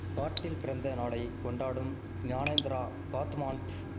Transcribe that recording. காட்டில் பிறந்த நாளை கொண்டாடும் ஞானேந்திரா காத்மாண்ட்